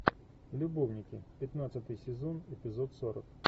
любовники пятнадцатый сезон эпизод сорок